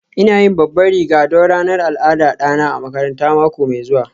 ina yin babban riga don ranar al'adar ɗana a makaranta mako mai zuwa